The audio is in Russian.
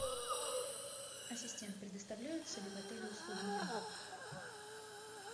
ассистент предоставляются ли в отеле услуги няни